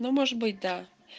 ну может быть да